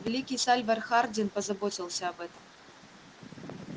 великий сальвор хардин позаботился об этом